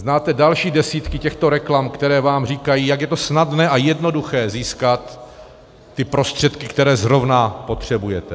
Znáte další desítky těchto reklam, které vám říkají, jak je to snadné a jednoduché získat ty prostředky, které zrovna potřebujete.